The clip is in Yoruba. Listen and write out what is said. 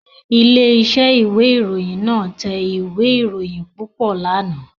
Ilé-iṣẹ́ ìwé-ìròyìn náà tẹ ìwé-ìròyìn púpọ̀ lánàá.